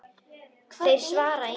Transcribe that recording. Þeir svara engu.